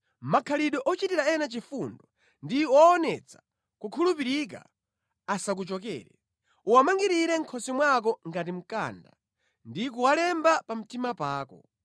Makhalidwe ochitira ena chifundo ndi owonetsa kukhulupirika asakuchokere. Uwamangirire mʼkhosi mwako ngati mkanda ndi kuwalemba pa mtima pako.